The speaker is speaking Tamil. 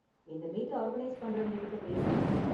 இந்த மீட்ட ஆர்கனைஸ் பண்றவங்க கிட்ட பேசுனேன்.